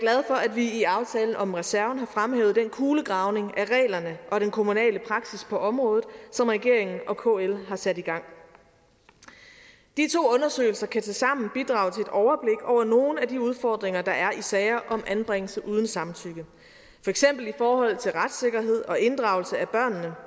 vi i aftalen om reserven har fremhævet den kulegravning af reglerne og den kommunale praksis på området som regeringen og kl har sat i gang de to undersøgelser kan tilsammen bidrage til et overblik over nogle af de udfordringer der er i sager om anbringelse uden samtykke for eksempel i forhold til retssikkerhed og inddragelse af børnene